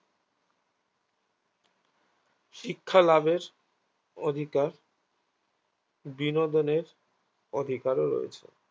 শিক্ষালাভের অধিকার বিনোদনের অধিকারও রয়েছে